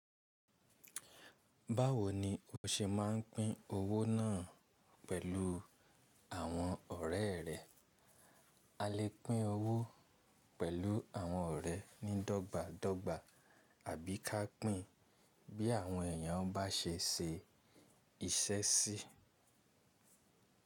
Báwo ni o ṣe máa ń pín owó náà pẹ̀lú àwọn ọ̀rẹ́ rẹ? A lè pín owó pẹ̀lú àwọn ọ̀rẹ́ ní dọ́gba dọ́gba àbí ká pín bí àwọn èèyàn bá ṣe ṣe iṣẹ́ sí.